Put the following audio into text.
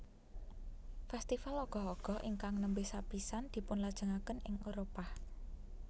Festival Ogoh Ogoh ingkang nembe sapisan dipunlajengaken ing Éropah